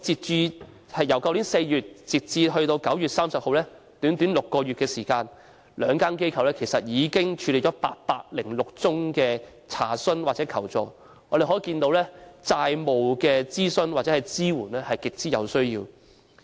自去年4月至9月30日的短短6個月期間，兩間機構已處理了806宗查詢或求助，可見債務諮詢或支援服務是極有需要的。